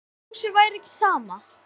Eins og Rósu væri ekki sama.